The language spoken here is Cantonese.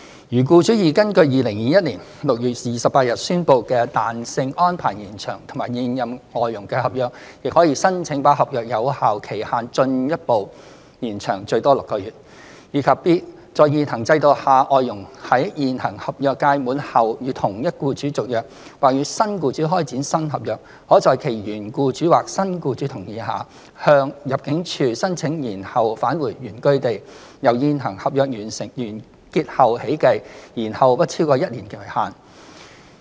如僱主已根據2021年6月28日宣布的彈性安排延長與現任外傭的合約，亦可申請把合約有效期限進一步延長最多6個月；及 b 在現行制度下，外傭在現行合約屆滿後與同一僱主續約，或與新僱主開展新合約，可在其原僱主或新僱主同意下，向入境處申請延後返回原居地，由現行合約完結後起計，延後不超過一年為限。